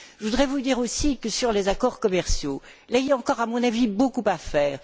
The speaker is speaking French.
Je voudrais vous dire aussi que sur les accords commerciaux, il y a encore, à mon avis, beaucoup à faire.